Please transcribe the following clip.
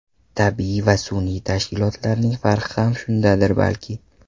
Tabiiy va sun’iy tashkilotlarning farqi ham shundadir balki.